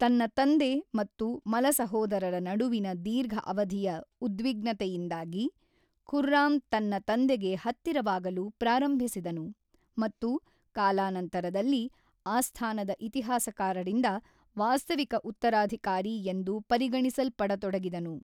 ತನ್ನ ತಂದೆ ಮತ್ತು ಮಲಸಹೋದರರ ನಡುವಿನ ದೀರ್ಘ ಅವಧಿಯ ಉದ್ವಿಗ್ನತೆಯಿಂದಾಗಿ, ಖುರ್ರಾಮ್ ತನ್ನ ತಂದೆಗೆ ಹತ್ತಿರವಾಗಲು ಪ್ರಾರಂಭಿಸಿದನು, ಮತ್ತು ಕಾಲಾನಂತರದಲ್ಲಿ, ಆಸ್ಥಾನದ ಇತಿಹಾಸಕಾರರಿಂದ ವಾಸ್ತವಿಕ ಉತ್ತರಾಧಿಕಾರಿ ಎಂದು ಪರಿಗಣಿಸಲ್ಪಡತೊಡಗಿದನು.